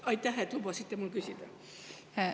Aitäh, et lubasite mul küsida!